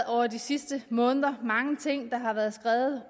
over de sidste måneder mange ting der har været skrevet